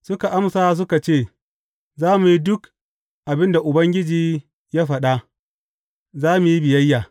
Suka amsa suka ce, Za mu yi duk abin da Ubangiji ya faɗa; za mu yi biyayya.